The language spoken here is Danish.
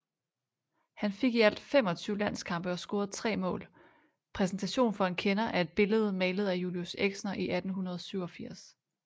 Han fik i alt 25 landskampe og scorede 3 målPræsentation for en kender er et billede malet af julius exner i 1887